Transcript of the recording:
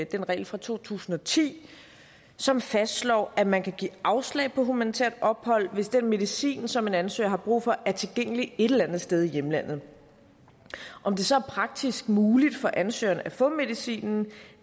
den regel fra to tusind og ti som fastslår at man kan give afslag på humanitært ophold hvis den medicin som en ansøger har brug for er tilgængelig et eller andet sted i hjemlandet om det så er praktisk muligt for ansøgeren at få medicinen